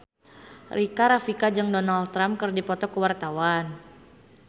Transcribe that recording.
Rika Rafika jeung Donald Trump keur dipoto ku wartawan